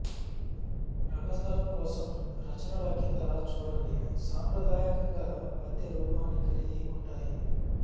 రంగ స్థలం కోసం రచనలు కింద చూడండి సాంప్రదాయకంగా పద్య రూపాన్ని కలిగి ఉంటాయి